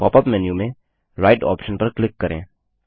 pop up menu में right option पर click करें